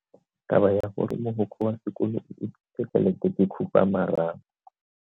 Taba ya gore mogokgo wa sekolo o utswitse tšhelete ke khupamarama.